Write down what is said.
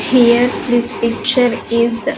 Here this picture is--